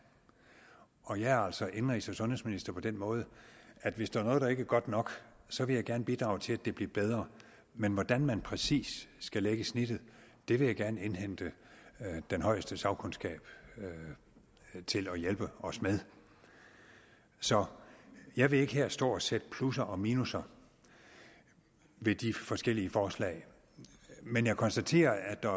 og jeg er altså indenrigs og sundhedsminister på den måde at hvis der er noget der ikke er godt nok så vil jeg gerne bidrage til at det bliver bedre men hvordan man præcis skal lægge snittet vil jeg gerne indhente den højeste sagkundskab til at hjælpe os med så jeg vil ikke her stå og sætte plusser og minusser ved de forskellige forslag men jeg konstaterer at der